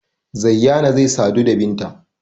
Zayyana zai sadu da Binta.